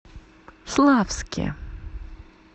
славске